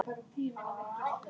Sín vegna.